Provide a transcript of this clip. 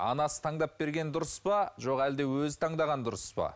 анасы таңдап берген дұрыс па жоқ әлде өзі таңдаған дұрыс па